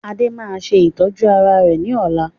Adé máa ṣe ìtọ́jú ara rẹ ní ọ̀la